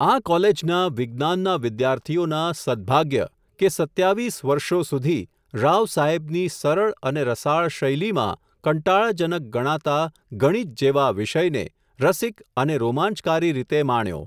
આ કોલેજના, વિજ્ઞાન ના વિદ્યાર્થીઓના, સદ્ભાગ્ય, કે, સત્યાવીસ વર્ષો સુધી, રાવસાહેબની, સરળ, અને રસાળ શૈલીમાં, કંટાળાજનક ગણાતાં, ગણિત જેવા વિષયને, રસિક અને રોમાંચકારી રીતે માણ્યો.